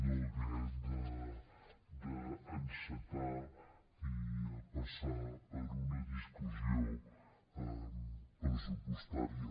no haver d’en·cetar i a passar per una discussió pressupostària